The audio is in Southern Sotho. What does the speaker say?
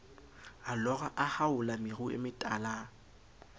a lora a haola meruemetala